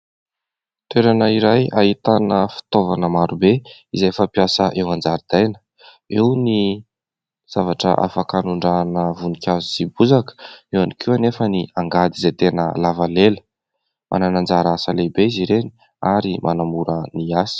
Toerana iray ahitana fitaovana maro be izay fampiasa eo an-jaridaina. Eo ny zavatra hanondrahana voninkazo sy ny bozaka, eo ihany koa anefa ny angady izay tena lava lela. Manana anjara asa lehibe izy ireny ary manamora ny asa.